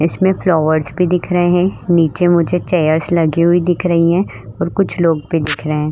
इसमें में फ्लावर्स भी दिख रहे है । नीचे मुझे चैट्स लगी हुई दिख रही हैं और कुछ लोग भी दिख रहें है ।